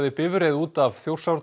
bifreið út af